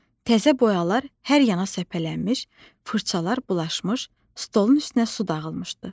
Təzə boyalar hər yana səpələnmiş, fırçalar bulaşmış, stolun üstünə su dağılmışdı.